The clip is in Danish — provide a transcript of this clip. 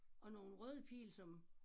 Og nogle røde pile som